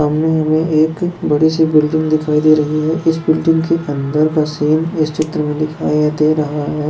सामने हमे एक बडीसी बिल्डिंग दिखाई दे रही है इस बिल्डिंग के अंदर का सीन इस चित्र मे दिखाई दे रहा है।